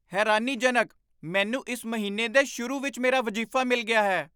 ਹੈਰਾਨੀਜਨਕ! ਮੈਨੂੰ ਇਸ ਮਹੀਨੇ ਦੇ ਸ਼ੁਰੂ ਵਿੱਚ ਮੇਰਾ ਵਜ਼ੀਫ਼ਾ ਮਿਲ ਗਿਆ ਹੈ!